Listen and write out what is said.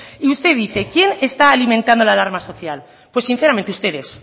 usted dice quién está alimentando la alarma social pues sinceramente ustedes